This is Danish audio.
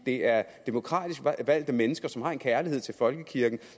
det er demokratisk valgte mennesker som har en kærlighed til folkekirken